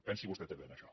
pensi vostè també en això